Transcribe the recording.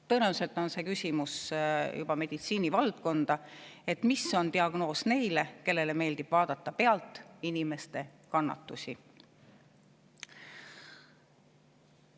Tõenäoliselt kuulub see küsimus juba meditsiini valdkonda, et mis diagnoos on neil, kellele meeldib vaadata pealt inimeste kannatusi.